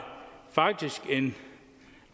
faktisk en